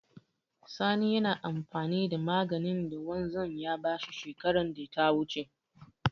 Sani yana amfani da maganin da wanzan ya ba shi bara.